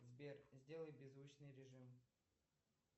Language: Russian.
сбер сделай беззвучный режим